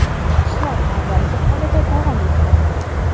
Ishlar avvalgi holida davom etmoqda.